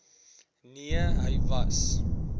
nee hy was